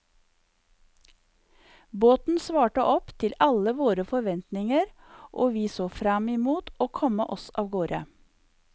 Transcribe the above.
Båten svarte opp til alle våre forventinger og vi så frem imot å komme oss avgårde.